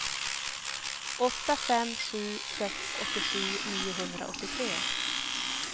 åtta fem sju sex åttiosju niohundraåttiotre